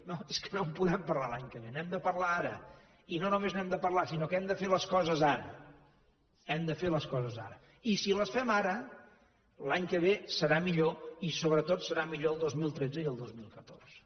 no és que no en podem parlar l’any que ve n’hem de parlar ara i no només n’hem de parlar sinó que hem de fer les coses ara hem de fer les coses ara i si les fem ara l’any que ve serà millor i sobretot seran millors el dos mil tretze i el dos mil catorze